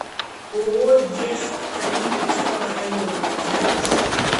ооо дез калининского района запись